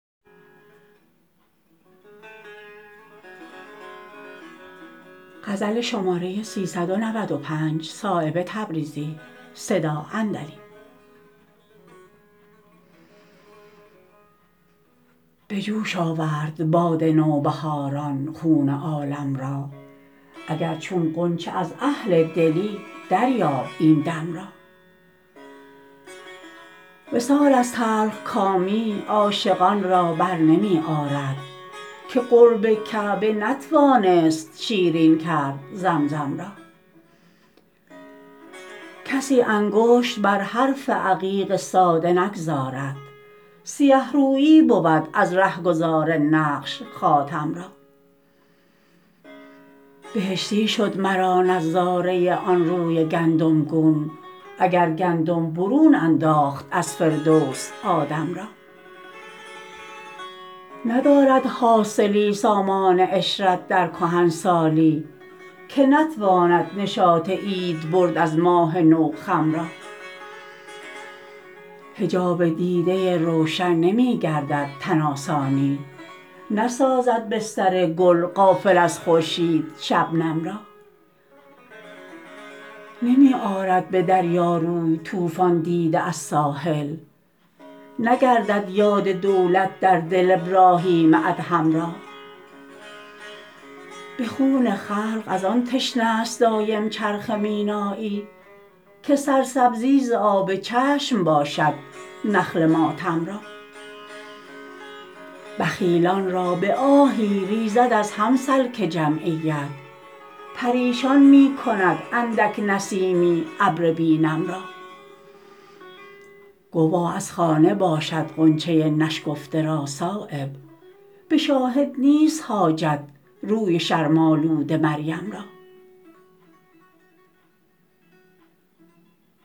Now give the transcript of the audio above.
به جوش آورد باد نوبهاران خون عالم را اگر چون غنچه از اهل دلی دریاب این دم را وصال از تلخکامی عاشقان را برنمی آرد که قرب کعبه نتوانست شیرین کرد زمزم را کسی انگشت بر حرف عقیق ساده نگذارد سیه رویی بود از رهگذار نقش خاتم را بهشتی شد مرا نظاره آن روی گندم گون اگر گندم برون انداخت از فردوس آدم را ندارد حاصلی سامان عشرت در کهنسالی که نتواند نشاط عید برد از ماه نو خم را حجاب دیده روشن نمی گردد تن آسانی نسازد بستر گل غافل از خورشید شبنم را نمی آرد به دریا روی طوفان دیده از ساحل نگردد یاد دولت در دل ابراهیم ادهم را به خون خلق ازان تشنه است دایم چرخ مینایی که سرسبزی ز آب چشم باشد نخل ماتم را بخیلان را به آهی ریزد از هم سلک جمعیت پریشان می کند اندک نسیمی ابر بی نم را گواه از خانه باشد غنچه نشکفته را صایب به شاهد نیست حاجت روی شرم آلود مریم را